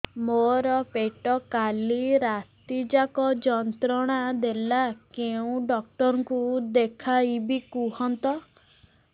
ମୋର ପେଟ କାଲି ରାତି ଯାକ ଯନ୍ତ୍ରଣା ଦେଲା କେଉଁ ଡକ୍ଟର ଙ୍କୁ ଦେଖାଇବି କୁହନ୍ତ